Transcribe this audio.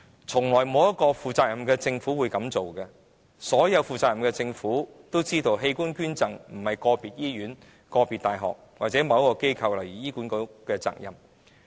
從來也沒有一個負責任的政府會這樣做，所有負責任的政府也知道，器官捐贈並非個別醫院、個別大學或某機構，例如醫管局的責任。